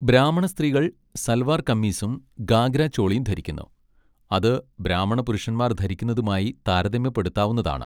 ബ്രാഹ്മണ സ്ത്രീകൾ സൽവാർ കമ്മീസും ഗാഗ്ര ചോളിയും ധരിക്കുന്നു, അത് ബ്രാഹ്മണ പുരുഷന്മാർ ധരിക്കുന്നതുമായി താരതമ്യപ്പെടുത്താവുന്നതാണ്.